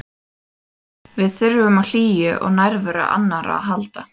Við þurfum á hlýju og nærveru annarra að halda.